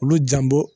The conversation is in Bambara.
Olu janbɔ